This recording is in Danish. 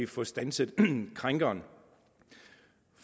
få standset krænkeren